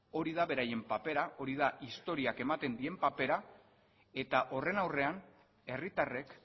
hori da beraien papera hori da historiak ematen dien papera eta horren aurrean herritarrek